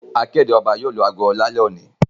Akéde oba yío lù ago lálé òní